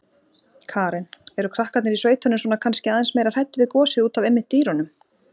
Karen: Eru krakkarnir í sveitunum svona kannski aðeins meira hrædd við gosið útaf einmitt dýrunum?